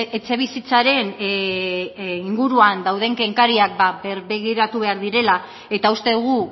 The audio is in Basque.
etxebizitzaren inguruan dauden kenkariak berbegiratu behar direla eta uste dugu